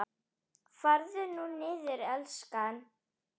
Farðu nú niður, elskan.